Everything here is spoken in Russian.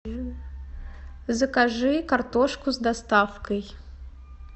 закажи картошку с доставкой